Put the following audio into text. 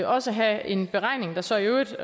også have en beregning der så i øvrigt